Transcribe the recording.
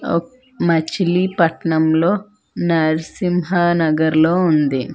ఓ మచిలీపట్నంలో నరసింహానగర్ లో ఉంది.